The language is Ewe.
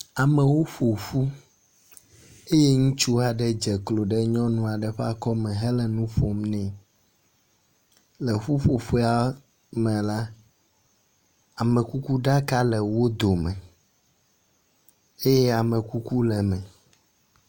Amewo ƒoƒu eye ŋutsu aɖe dze klo ɖe nyɔnu aɖe ƒe akɔme hele nuƒom nɛ. Le ƒuƒoƒea me la, amekukuɖaka le wo dome eye amekuku le eme.